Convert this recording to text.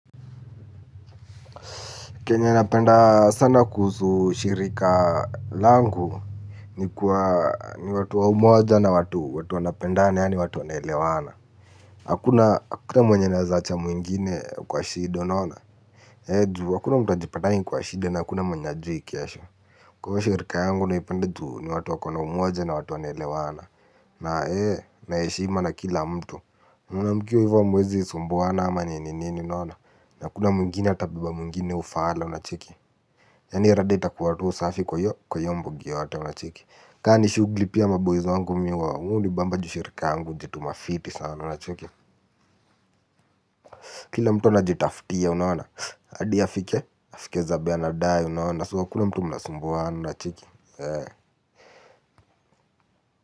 Kenye napenda sana kuhusu shirika langu ni watu wa umoja na watu watu wa napenda ya ni watu wa nelewana. Hakuna mwenye naweza acha mwingine kwa shido naona. He juu hakuna mtuajipataini kwa shido na hakuna mwenye ajui kesho. Kwa shirika yangu na ipenda juu ni watu wa kuna umoja na watu wa nelewana. Na hee na heshima na kila mtu mkiwa hivyo hamuwezi kusumbuana, hakuna atakae beba mwingine ufala. Yaani rada itakuwa tuu safi kwa hiyo mbogi yote unacheki. Kaa ni shughli pia maboyz wangu mimi huwa hunii bamba juu shirika yangu hujituma fiti sana unacheki. Kila mtu anajitafutia unaona hadi afike, afike zabe anadai unaona So hakuna mtu mnasumbuana unacheki.